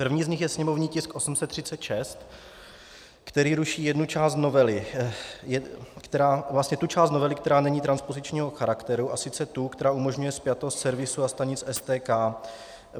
První z nich je sněmovní tisk 836, který ruší jednu část novely, vlastně tu část novely, která není transpozičního charakteru, a sice tu, která umožňuje spjatost servisu a stanic STK.